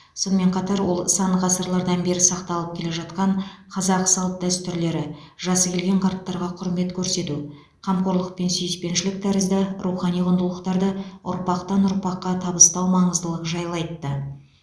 сонымен қатар ол сан ғасырлардан бері сақталып келе жатқан қазақ салт дәстүрлері жасы келген қарттарға құрмет көрсету қамқорлық пен сүйіспеншілік тәрізді рухани құндылықтарды ұрпақтан ұрпаққа табыстау маңыздылығы жайлы айтты